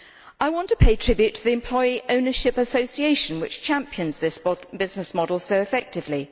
I want to pay tribute to the Employee Ownership Association which champions this business model so effectively.